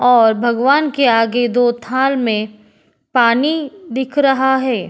और भगवान के आगे दो थाल में पानी दिख रहा है।